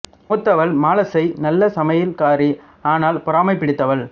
மூத்தவள் மாலசை நல்ல சமையல் காரி ஆனால் பொறாமை பிடித்தவள்